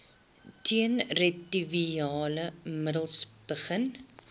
teenretrovirale middels begin